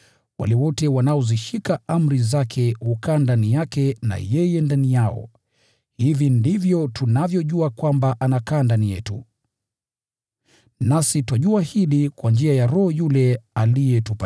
Wale wote wanaozishika amri zake hukaa ndani yake na yeye ndani yao. Hivi ndivyo tunavyojua kwamba anakaa ndani yetu. Nasi twajua hili kwa njia ya Roho yule aliyetupa.